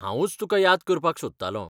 हांवुंच तुका याद करपाक सोदतालों.